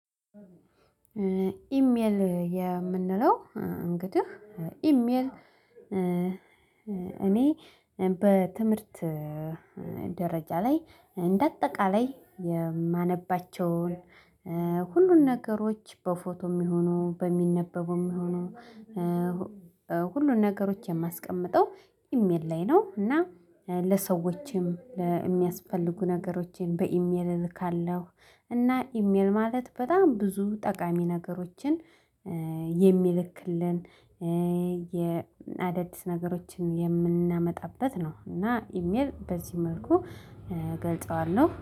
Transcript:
ኢሜል የምንለው እንግዲህ ኢሜል። እኔ በትምህርት ደረጃ ላይ እንደ አጠቃላይ የማነባቸውን ሁሉን ነገሮች በፎቶ የሚሆኑ በሚነበቡም የሚሆኑ ሁሉን ነገሮችን የማስቀምጠው ኢሜል ላይ ነው። እና ለሰዎችም ለሚያስፈልጉ ነገሮችን በኢሜል እልካለሁ። እና ኢሜል ማለት በጣም ብዙ ጠቃሚ ነገሮችን የሚልክልን የአደድስ ነገሮችን የምናመጣበት ነው። እና ኢሜል በዚህ መልኩ እገልጸዋለሁ